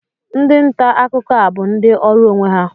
Ndị nta akụkọ a bụ ndị ọrụ onwe ha